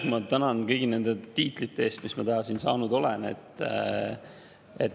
Ma tänan kõigi nende tiitlite eest, mis ma täna siin saanud olen.